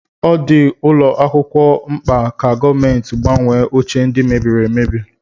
Ọ dị ụlọ akwụkwọ mkpa ka gọọmenti gbanwee oche ndi mebiri emebi